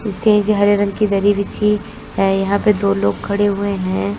इसके नीचे हरे रंग की दरी बिछी है यहां पे दो लोग खड़े हुए हैं।